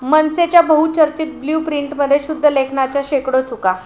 मनसेच्या बहुचर्चित ब्ल्यू प्रिंटमध्ये शुद्धलेखनाच्या शेकडो चुका!